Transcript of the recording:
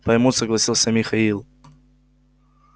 поймут согласился михаил